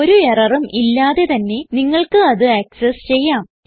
ഒരു എററും ഇല്ലാതെ തന്നെ നിങ്ങൾക്ക് അത് ആക്സസ് ചെയ്യാം